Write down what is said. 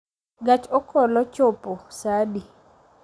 gach okolochopo saa adi?